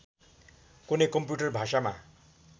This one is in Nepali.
कुनै कम्प्युटर भाषामा